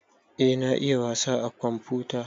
Eh na iya wasa a komfuta